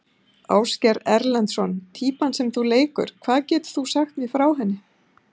Ásgeir Erlendsson: Týpan sem þú leikur, hvað getur þú sagt mér frá henni?